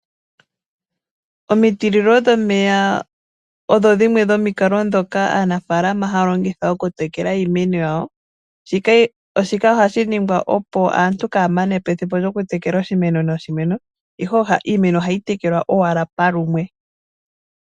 Omitililo dhomeya odho dhimwe dhomikalo ndhoka aanafalama haya longitha okutekela iimeno yawo, shika oha shi ningwa opo aantu kaya manepo ethimbo lyokutekela oshimeno noshimeno, iimeno ayihe oha yi tekelwa owala palumwe.